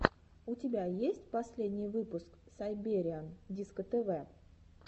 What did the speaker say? у тебя есть последний выпуск сайбериан дискотв